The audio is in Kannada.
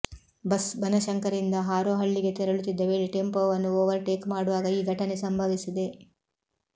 ಬಸ್ ಬನಶಂಕರಿಯಿಂದ ಹಾರೋಹಳ್ಳಿಗೆ ತೆರಳುತ್ತಿದ್ದ ವೇಳೆ ಟೆಂಪೋವನ್ನು ಓವರ್ ಟೇಕ್ ಮಾಡುವಾಗ ಈ ಘಟನೆ ಸಂಭವಿಸಿದೆ